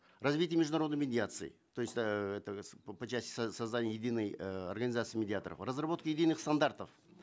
развитие международной медиации то есть э это по части создания единой э организации медиаторов разработки единых стандартов